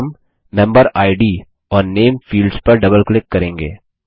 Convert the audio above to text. और हम मेम्बेरिड और नामे फील्ड्स पर डबल क्लिक करेंगे